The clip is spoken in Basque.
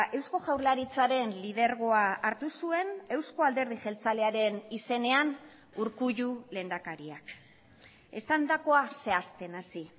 eusko jaurlaritzaren lidergoa hartu zuen eusko alderdi jeltzalearen izenean urkullu lehendakariak esandakoa zehazten hasi